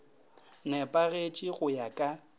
ne pagetše go ya ka